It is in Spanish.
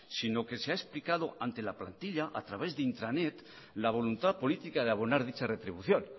sino que se ha explicado ante la plantilla a través de intranet la voluntad política de abonar dicha retribución